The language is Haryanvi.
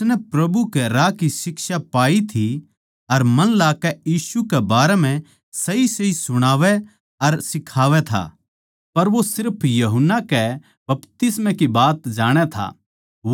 उसनै प्रभु कै राह की शिक्षा पाई थी अर मन लाकै यीशु कै बारै म्ह सहीसही सुणावै अर सिखावै था पर वो सिर्फ यूहन्ना कै बपतिस्मा की बात जाणै था